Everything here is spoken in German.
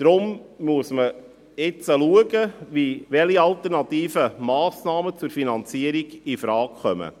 Deshalb muss man jetzt schauen, welche alternativen Massnahmen zur Finanzierung infrage kommen.